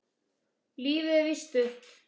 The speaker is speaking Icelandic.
Lífið er víst stutt.